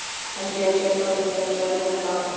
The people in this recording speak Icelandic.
Hann sneri sér frá mér þegar ég sagði þetta.